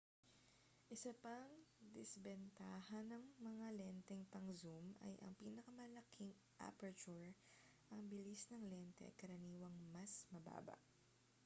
isa pang disbentaha ng mga lenteng pang-zoom ay ang pinakamalaking aperture ang bilis ng lente ay karaniwang mas mababa